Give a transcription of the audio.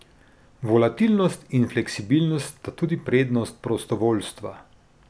Volatilnost in fleksibilnost sta tudi prednost prostovoljstva.